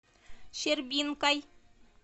щербинкой